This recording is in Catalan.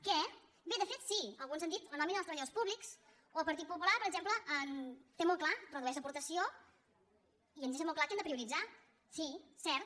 què bé de fet sí alguns han dit la nòmina dels treballadors públics o el partit popular per exemple ho té molt clar redueix l’aportació i ens deixa molt clar què hem de prioritzar sí cert